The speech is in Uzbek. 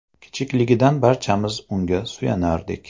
Kichikligidan barchamiz unga suyanardik.